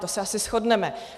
To se asi shodneme.